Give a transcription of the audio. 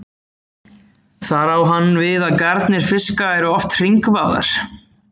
þar á hann við að garnir fiska eru oft hringvafðar